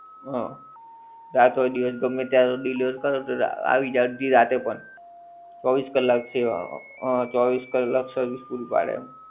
હં. રાત હોય દિવસ ગમ્મે ત્યારે. Delivery કરે તો આવી જાય અડધી રાતે પણ ચોવીસ કલાક છે હં. હં ચોવીસ કલાક service પૂરી પડે.